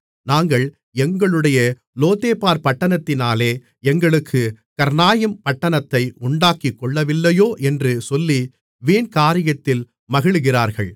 நாங்கள் எங்களுடைய லோதேபார் பட்டணத்தினாலே எங்களுக்குக் கர்னாயிம் பட்டணத்தை உண்டாக்கிக் கொள்ளவில்லையோ என்று சொல்லி வீண்காரியத்தில் மகிழுகிறார்கள்